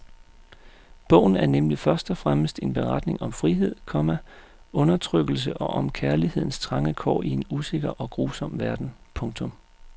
Bogen er nemlig først og fremmest en beretning om frihed, komma undertrykkelse og om kærlighedens trange kår i en usikker og grusom verden. punktum